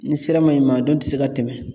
N'i sera ma ɲin, maa dɔnnin tɛ se tɛmɛ